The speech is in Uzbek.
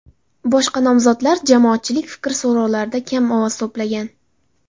Boshqa nomzodlar jamoatchilik fikri so‘rovlarida kam ovoz to‘plagan.